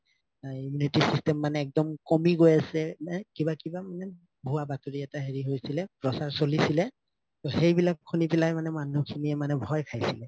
immunity system মানে একদম কমি গৈ আছে এ কিবা কিবা মানে ভুয়া বাতৰি এটা হেৰি হৈছিলে প্ৰচাৰ চছিলে ত সেইবিলাক শুনি পেলাই মানুহখিনিয়ে ভয় খাইছিলে